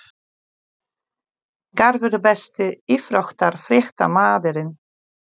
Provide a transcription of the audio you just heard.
Garpur Besti íþróttafréttamaðurinn?